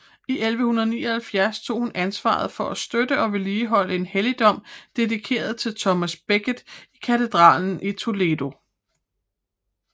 I 1179 tog hun ansvaret for at støtte og vedligeholde en helligdom dedikeret til Thomas Becket i katedralen i Toledo